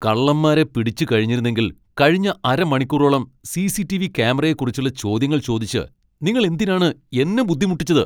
കള്ളന്മാരെ പിടിച്ചു കഴിഞ്ഞിരുന്നെങ്കിൽ കഴിഞ്ഞ അരമണിക്കൂറോളം സി.സി.ടി.വി. ക്യാമറയെക്കുറിച്ചുള്ള ചോദ്യങ്ങൾ ചോദിച്ച് നിങ്ങൾ എന്തിനാണ് എന്നെ ബുദ്ധിമുട്ടിച്ചത്?